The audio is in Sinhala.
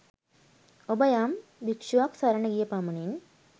ඔබ යම් භික්ශුවක් සරණ ගිය පමණින්